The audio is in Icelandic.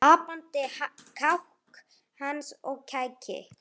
Apandi kák hans og kæki